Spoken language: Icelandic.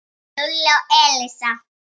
Lúlli og Elísa.